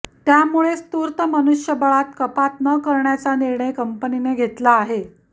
त्यामुळेच तूर्त मनुष्यबळात कपात न करण्याचा निर्णय कंपनीने घेतला आहे